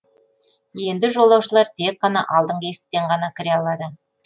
енді жолаушылар тек қана алдыңғы есіктен ғана кіре алады